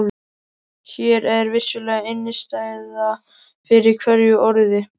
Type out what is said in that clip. Hér er vissulega innistæða fyrir hverju orði.